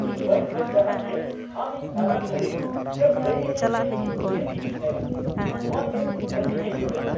ᱤᱧ ᱵᱟᱹᱧ ᱠᱷᱚᱡ ᱠᱟᱱᱟ ᱡᱮ ᱟᱢ ᱤᱧ ᱥᱟᱨᱟ ᱜᱷᱟᱹᱲᱤ ᱜᱮᱢ ᱞᱟᱹᱭ ᱟᱹᱧᱟᱹ ᱡᱮ ᱤᱧ ᱪᱮᱫ ᱤᱧ ᱪᱮᱠᱟᱭᱟ ᱾ ᱱᱚᱶᱟ ᱛᱮ ᱨᱟᱹᱜᱤᱧ ᱟᱹᱭᱠᱟᱹᱣ ᱮᱫᱟ ᱾